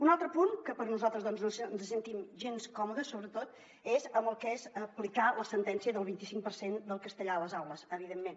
un altre punt que nosaltres no ens hi sentim gens còmodes sobretot és amb el d’aplicar la sentència del vint cinc per cent del castellà a les aules evidentment